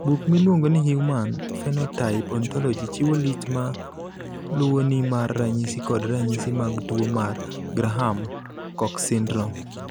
Buk miluongo ni Human Phenotype Ontology chiwo list ma luwoni mar ranyisi kod ranyisi mag tuo mar Graham Cox syndrome.